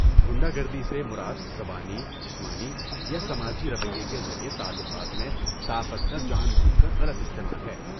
غنڈہ گردی سے مراد زبانی، جسمانی یا سماجی رویے کے ذریعے تعلقات میں طاقت کا جان بوجھ کر غلط استعمال ہے۔